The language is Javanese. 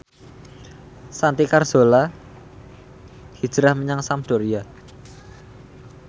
Santi Carzola hijrah menyang Sampdoria